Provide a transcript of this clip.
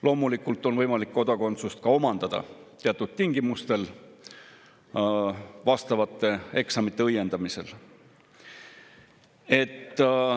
Loomulikult on võimalik kodakondsust ka omandada, seda teatud tingimustel, vastavate eksamite õiendamisel.